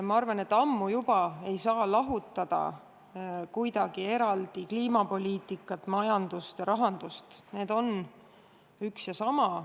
Ma arvan, et enam ammu ei saa kuidagi eraldi osadeks lahutada kliimapoliitikat, majandust ja rahandust – need on üks ja sama.